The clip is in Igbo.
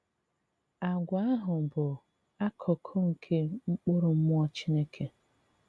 Àgwà ahụ bụ̀ akụkụ̀ nke mkpụrụ Mmụọ Chineke.